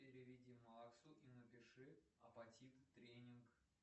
переведи максу и напиши апатит тренинг